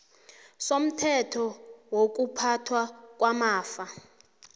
somthetho wokuphathwa kwamafa